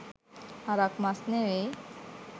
හරක් මස් නෙවෙයි